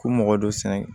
K'u mɔgɔ dɔ sɛnɛ